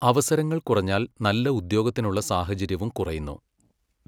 അവസരങ്ങൾ കുറഞ്ഞാൽ നല്ല ഉദ്യോഗത്തിനുള്ള സാഹചര്യവും കുറയുന്നു.